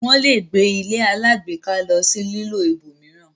wón lẹ gbé ilé alágbèéká ló sì lilọ ibòmíràn